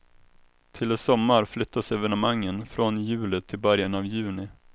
Till i sommar flyttas evenemangen från juli till början av juni.